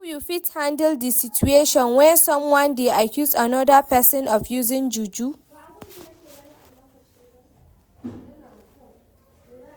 How you fit handle di situation where someone dey accuse anoda pesin of using juju?